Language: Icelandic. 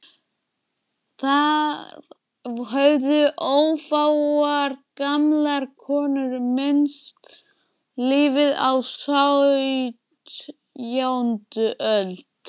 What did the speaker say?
Þar höfðu ófáar gamlar konur misst lífið á sautjándu öld.